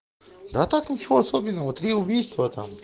да так ничего особенного три убийства там